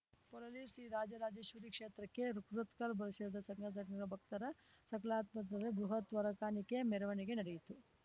ಪೊಳಲಿ ಶ್ರೀ ರಾಜರಾಜೇಶ್ವರಿ ಕ್ಷೇತ್ರಕ್ಕೆ ಕೂರತ್ಕಲ್ ಪರಿಸರದ ಸಂಘಸಂಸ್ಥೆಗಳ ಭಕ್ತರ ಸಹಭಾಗಿತ್ವದಲ್ಲಿ ಬೃಹತ್ ಹೊರೆಕಾಣಿಕೆ ಮೆರವಣಿಗೆ ನಡೆಯಿತು